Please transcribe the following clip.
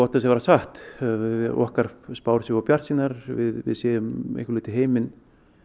þess að vera satt okkar spár séu of bjartsýnar við sjáum heiminn